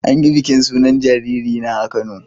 An yi bikin sunan jariri na a Kano.